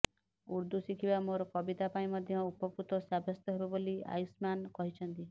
ଉର୍ଦ୍ଦୁ ଶିଖିବା ମୋର କବିତା ପାଇଁ ମଧ୍ୟ ଉପକୃତ ସାବ୍ୟସ୍ତ ହେବ ବୋଲି ଆୟୁସ୍ମାନ କହିଛନ୍ତି